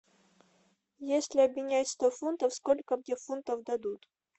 если обменять сто фунтов сколько где фунтов дадут